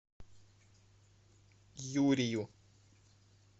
юрию